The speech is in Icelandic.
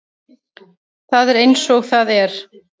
Það er eins og það er